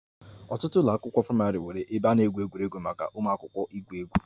Ọtụtụ ụlọ akwụkwọ praịmarị nwere ebe a na-egwu egwuregwu maka ụmụaka igwu egwu